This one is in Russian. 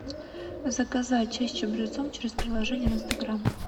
заказать чай с чабрецом через приложение в инстаграм